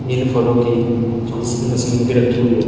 इन फलों की जूस की मशीन भी रखी हुई है।